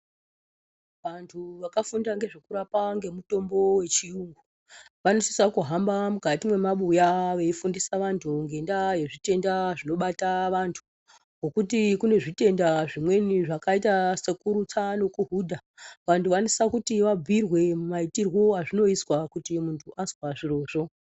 Vantu vakafunda ngezvekurapa ngemutombo wechiyungu vanosisawo kuhamba mukati mwemabuya veifundisa vantu ngendaa yezvitenda zvinobata vantu, ngokuti kunzvitenda zvimweni zvakaita sekurutsa nekuhudha, vantu vanosisa kuti vabhuyirwe maitiro azvinoizwa kana muuntu azwa zvirizvo.